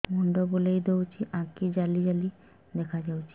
ମୁଣ୍ଡ ବୁଲେଇ ଦଉଚି ଆଖି ଜାଲି ଜାଲି ଦେଖା ଯାଉଚି